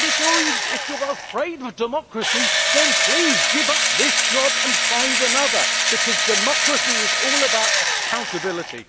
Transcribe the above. If you are afraid of democracy then please give up this job and find another, because democracy is all about accountability.